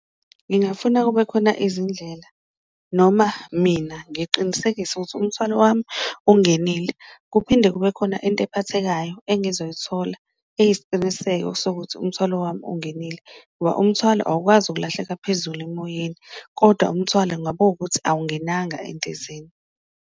Ngingafuna kube khona izindlela noma mina ngiqinisekise ukuthi umthwalo wami ungenile, kuphinde kube khona into ephathekayo engizoyithola eyisiqiniseko sokuthi umthwalo wami ungenile, ngoba umthwalo awukwazi ukulahleka phezulu emoyeni kodwa umthwalo ungaba ukuthi awungenanga endizeni.